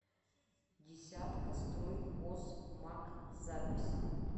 десятка строй хоз маг запись